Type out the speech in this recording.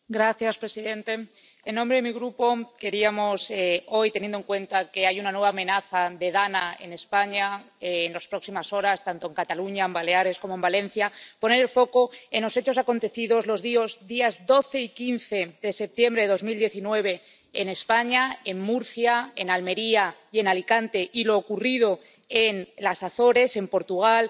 Señor presidente, en nombre de mi Grupo queríamos hoy, teniendo en cuenta que hay una nueva amenaza de DANA en España en las próximas horas —en Cataluña, en Baleares y en Valencia—, poner el foco en los hechos acontecidos los días 12 y 15 de septiembre de 2019 en España —en Murcia, en Almería y en Alicante—, y lo ocurrido en las Azores —en Portugal—